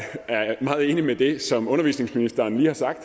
meget enig i det som undervisningsministeren lige har sagt